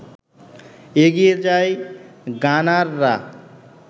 এগিয়ে যায় গানাররা